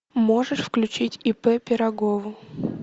можешь включить ип пирогову